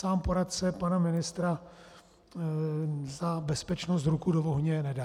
Sám poradce pana ministra za bezpečnost ruku do ohně nedá.